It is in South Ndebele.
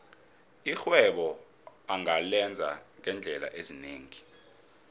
irhwebo ungalenza ngeendlela ezinengi